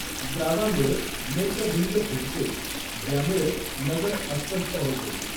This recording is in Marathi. द्रावामुळे नेत्रभिंग फुगते, ज्यामुळे नजर अस्पष्ट होते.